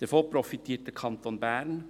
Davon profitiert der Kanton Bern.